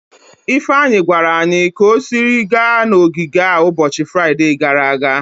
Ifeanyi gwara anyi ka o siri gaa n'ogige a n'ụbọchị Fraide gara aga.